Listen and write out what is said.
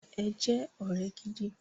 Ẹ jẹ́ ọ̀rẹ́ gidi!